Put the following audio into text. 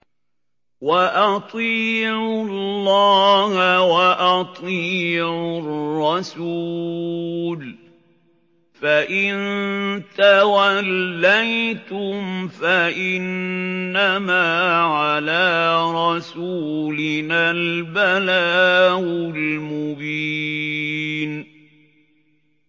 وَأَطِيعُوا اللَّهَ وَأَطِيعُوا الرَّسُولَ ۚ فَإِن تَوَلَّيْتُمْ فَإِنَّمَا عَلَىٰ رَسُولِنَا الْبَلَاغُ الْمُبِينُ